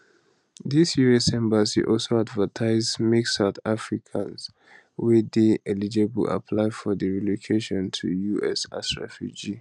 di us embassy also advertise makesouth africans wey dey eligible apply for di relocation to us as refugees